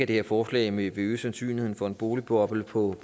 det her forslag vil øge sandsynligheden for en boligboble på